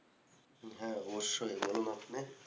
হ্যাঁ অবশ্যই বলুন আপনি